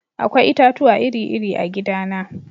Akwai itatuwa iri-iri a gidana.